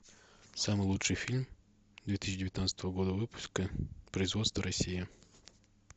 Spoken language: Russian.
самый лучший фильм две тысячи девятнадцатого года выпуска производство россия